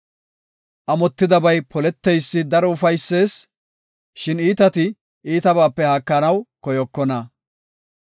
Amotidabay poleteysi daro ufaysees; shin iitati iitabaape haakanaw koyokona.